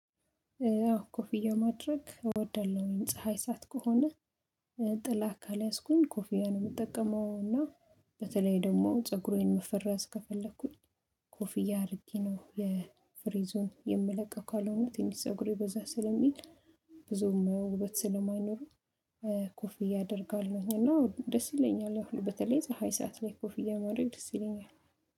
ኮፊያ ማድረግ እወዳለሁ ፀሀይ ሳዓት ከሆነ ጥላ ካልያዝኩኝ ኮፊያ ነው የምጠቀመው እና በተለይ ደግሞ ፀጉሬን መፈረዝ ከፈለኩኝ ኮፊያ አሪጌ ነው የፍሪዙን የምለቀው ካልሆነ ትንሽ ፀጉሬ በዛ ስለሚል ብዙም ውበት ስለማይኖሩ ኮፍያ አደርጋለሀኝ አና ደስ ይለኛል ያው በተለይ ፀሀይ ሰዓት ላይ ኮፍያ ማረግ ደስ ይለኛል።